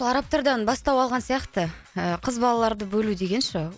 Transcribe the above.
арабтардан бастау алған сияқты ы қыз балаларды бөлу деген ше